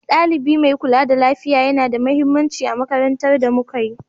Ɗalibi mai kula da lafiya yana da mahimmanci a makarantun da muka yi.